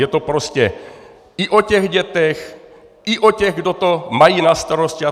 Je to prostě i o těch dětech, i o těch, kdo to má na starosti atd.